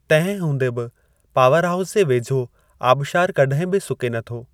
तंहिं हूंदे बि पावर हाऊस जे वेझो आबिशारु कॾहिं बि सुके न थो।